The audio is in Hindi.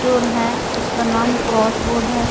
है उसका नाम क्रॉस बोर्ड है।